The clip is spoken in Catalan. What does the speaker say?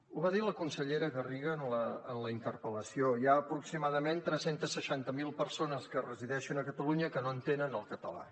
ho va dir la consellera garriga en la interpel·lació hi ha aproximadament tres cents i seixanta miler persones que resideixen a catalunya que no entenen el català